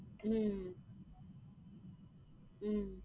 உம் உம்